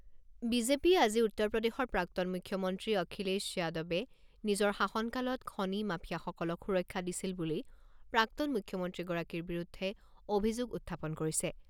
বিজেপিয়ে আজি উত্তৰ প্ৰদেশৰ প্ৰাক্তন মুখ্যমন্ত্ৰী অখিলেশ যাদৱে নিজৰ শাসনকালত খনি মাফিয়াসকলক সুৰক্ষা দিছিল বুলি প্ৰাক্তন মুখ্যমন্ত্ৰীগৰাকীৰ বিৰুদ্ধে অভিযোগ উত্থাপন কৰিছে।